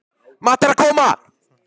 Matti er að koma!